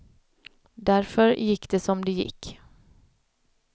Därför gick det som det gick.